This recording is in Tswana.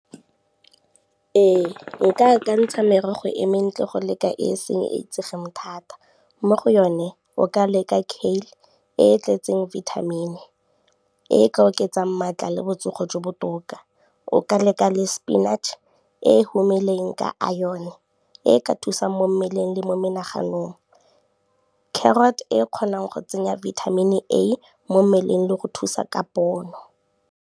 Ee nka akantsha merogo e mentle go leka e seng e itsege thata mo go yone, o ka leka kale e tletseng vitamin-e e ka oketsang maatla le botsogo jo botoka, o ka leka le spinach e humileng ka iron e ka thusa mo mmeleng le mo menaganong, carrot e kgonang go tsenya vitamin a mo mmeleng le go thusa ka pono.